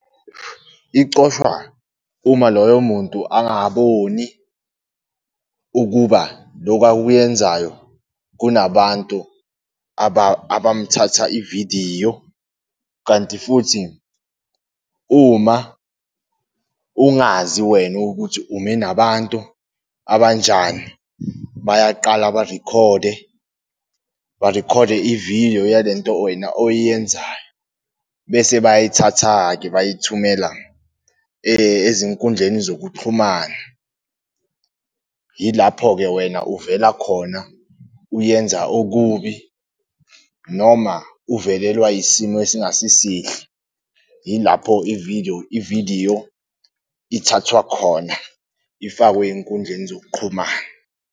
Icofwa uma loyo muntu angaboni ukuba loku akuyenzayo, kunabantu abamthatha ividiyo, kanti futhi uma ungazi wena ukuthi ume nabantu abanjani, bayaqala barikhode, barikhode i-video yalento wena oyenzayo, bese bayithatha-ke bayithumela ezinkundleni zokuxhumana. Yilapho-ke wena uvela khona uyenza okubi noma uvelelwa isimo esingasi sihle, ilapho i-vdeo, ividiyo ithathwa khona ifakwe ey'nkundleni zokuqhumana.